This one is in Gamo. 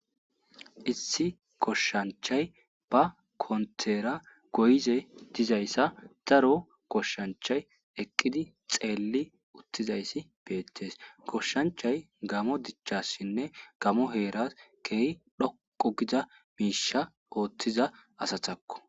Issi goshshanchay ba kontera goyize dizayssa daro goshshanchay eqqidi xeelli uttizayssi beettes koshshanchay gamo dichassinne gamo heera keh dhoqo gida miisha ooththiza asatakko.